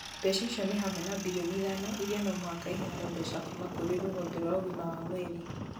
Mbeca icio nĩ hamwe na mbirioni ithano iria no mũhaka ĩheanwo ; mbeca kuuma kũrĩ rũhonge rwa ũgima wa mwĩrĩ ,